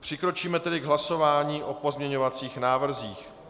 Přikročíme tedy k hlasování o pozměňovacích návrzích.